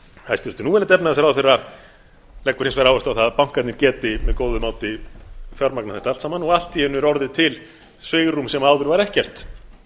hæstvirtur núverandi efnahagsráðherra leggur hins vegar áherslu á það að bankarnir geti með góðu móti fjármagnað þetta allt saman og allt í einu er orðið til svigrúm sem áður var ekkert